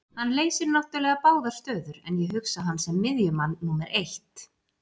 Hann leysir náttúrulega báðar stöður en ég hugsa hann sem miðjumann númer eitt.